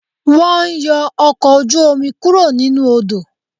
Wọ́n ń yọ ọkọ̀ ojú-omi kúrò nínú Odò